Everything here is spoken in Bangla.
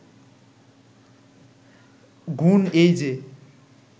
গুণ এই যে